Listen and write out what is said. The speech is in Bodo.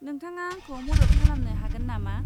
नोंथाङा आंखौ मदद खालानो हागोन नामा?